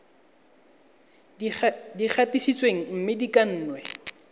di gatisitsweng mme di kannwe